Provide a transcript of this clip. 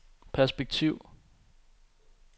perspektiv